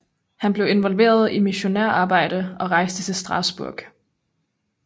Han blev involveret i missionærarbejde og rejste til Strasbourg